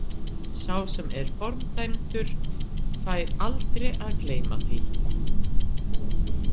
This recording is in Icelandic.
Sá sem er fordæmdur fær aldrei að gleyma því.